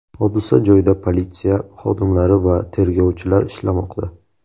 Hodisa joyida politsiya xodimlari va tergovchilar ishlamoqda.